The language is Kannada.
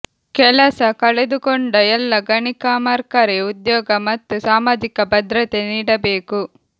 ಕೆಲಸ ಕಳೆದುಕೊಂಡ ಎಲ್ಲ ಗಣಿ ಕಾಮರ್ಿಕರಿ ಉದ್ಯೋಗ ಮತ್ತು ಸಾಮಾಜಿಕ ಭದ್ರತೆ ನೀಡಬೇಕು